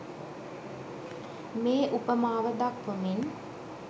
මේ උපමාව දක්වමින්